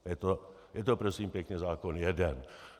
Je to prosím pěkně zákon jeden.